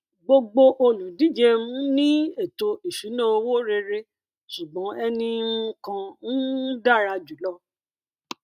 gbogbo olùdíje um ní ètò ìṣúnná owó rere ṣùgbọn ẹni um kan um dára jùlọ